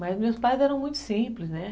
Mas meus pais eram muito simples, né?